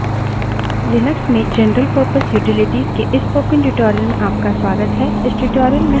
Linux में general purpose utilities के इस spoken tutorial में आपका स्वागत है